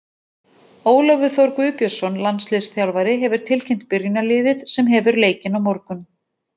Ólafur Þór Guðbjörnsson, landsliðsþjálfari, hefur tilkynnt byrjunarliðið sem hefur leikinn á morgun.